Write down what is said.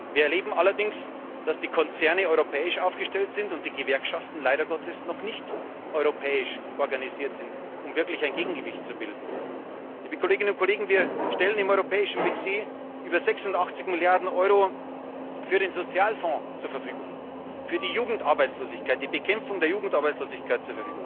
Wir erleben allerdings, dass die Konzerne europäisch aufgestellt sind und die Gewerkschaften leider Gottes noch nicht europäisch organisiert sind, um wirklich ein Gegengewicht zu bilden. Liebe Kolleginnen und Kollegen, wir stellen im europäischen Budget über 86 Milliarden Euro für den Sozialfonds zur Verfügung, für die Bekämpfung der Jugendarbeitslosigkeit.